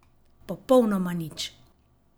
Popolnoma nič.